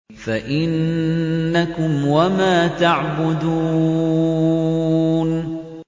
فَإِنَّكُمْ وَمَا تَعْبُدُونَ